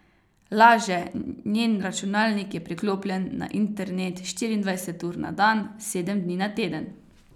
Laže, njen računalnik je priklopljen na internet štiriindvajset ur na dan, sedem dni na teden.